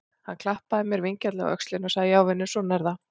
Hann klappaði mér vingjarnlega á öxlina og sagði: Já vinur, svona er það.